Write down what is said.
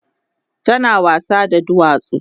tana wasa da duwatsu